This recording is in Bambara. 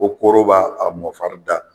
Ko kooro b'a mɔnfari da.